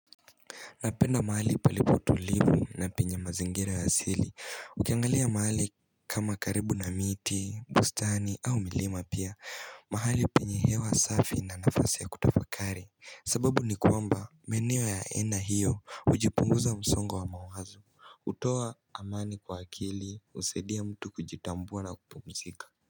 Napenda mahali palipo tulivu na penye mazingira ya asili Ukiangalia mahali kama karibu na miti, bustani au milima pia mahali penye hewa safi na nafasi ya kutafakari sababu ni kuamba maeneo ya ena hiyo ujipunguza msongo wa mawazo Utowa amani kwa akili usaidia mtu kujitambua na kupumzika.